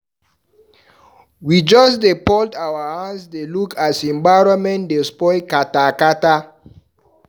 We just dey fold our hand dey look as environment dey spoil kpata kpata.